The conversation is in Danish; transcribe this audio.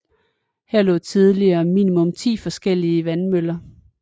Her lå tidligere minimum ti forskellige vandmøller